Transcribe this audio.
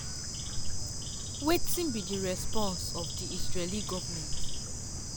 wetin be di response of di israeli goment?